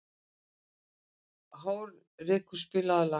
Hárekur, spilaðu lag.